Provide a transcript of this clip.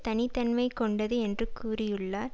தனி தன்மை கொண்டது என்று கூறியுள்ளார்